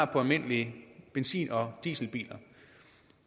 på almindelige benzin og dieselbiler